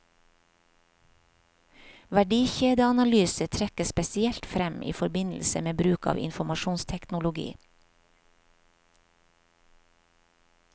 Verdikjedeanalyse trekkes spesielt frem i forbindelse med bruk av informasjonsteknologi.